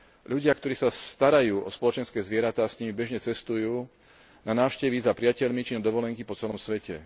Ľudia, ktorí sa starajú o spoločenské zvieratá, s nimi bežne cestujú na návštevy za priateľmi či na dovolenky po celom svete.